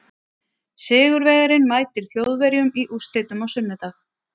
Sigurvegarinn mætir Þjóðverjum í úrslitum á sunnudag.